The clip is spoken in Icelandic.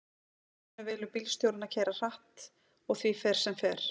í dæminu velur bílstjórinn að keyra hratt og því fer sem fer